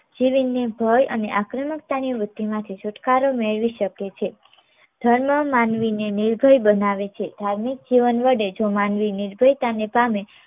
જીવીને ભય અને આક્રમકતાની વૃત્તિમાંથી છુટકારો મેળવી શકે છે. ધર્મ માનવી ને નિર્ભય બનાવે છે ધાર્મિક જીવન વડે જો માનવી નિર્ભયતા ને પામે